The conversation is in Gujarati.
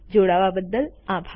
જોડાવા બદ્દલ આભાર